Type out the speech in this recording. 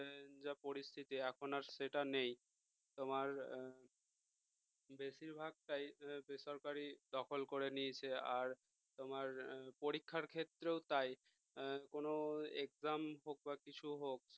যা পরিস্থিতি এখন আর সেটা নেই তোমার বেশিরভাগটাই বেসরকারি দখল করে নিয়েছে আর তোমার পরীক্ষার ক্ষেত্রেও তাই কোন exam হোক বা কিছু হোক